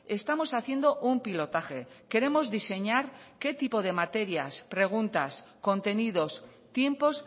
estamos haciendo un pilotaje queremos diseñar qué tipos de materias preguntas contenidos tiempos